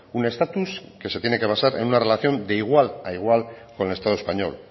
un estatus que se tiene que vasar en una relación de igual a igual con el estado español